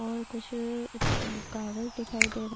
اور کچھ کاگاج دکھائی دے رہا ہے۔